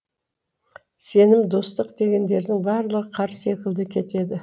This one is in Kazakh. сенім достық дегендердің барлығы қар секілді кетеді